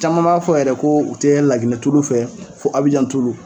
Caman b'a fɔ yɛrɛ ko u te laginɛ tulu fɛ fɔ abijan tulu